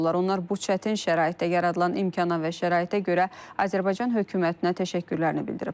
Onlar bu çətin şəraitdə yaradılan imkana və şəraitə görə Azərbaycan hökumətinə təşəkkürlərini bildiriblər.